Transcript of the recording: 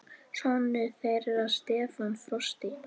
Sonur þeirra Stefán Frosti.